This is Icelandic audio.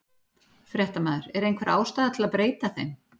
Fréttamaður: Er einhver ástæða til að breyta þeim?